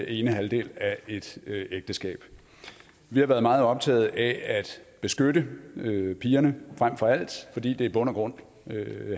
ene halvdel af et ægteskab vi har været meget optaget af at beskytte pigerne frem for alt fordi det i bund og grund